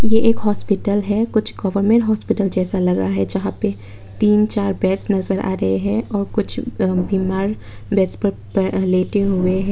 ये एक हॉस्पिटल है कुछ गवर्नमेंट हॉस्पिटल जैसा लग रहा है जहां पे तीन चार बेड नजर आ रहे हैं। और कुछ बीमार बेड पर लेटे हुए हैं।